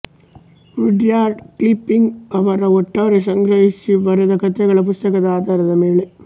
Rudyard Kipling ರವರ ಒಟ್ಟಾರೆ ಸಂಗ್ರಹಿಸಿ ಬರೆದಕಥೆಗಳ ಪುಸ್ತಕದ ಆಧಾರದ ಮೇಲೆ